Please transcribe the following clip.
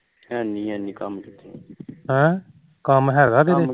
ਕੰਮ ਹੈਗਾ ਕਿਤੇ